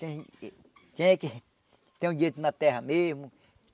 Quem quem é que tem o direito na terra mesmo.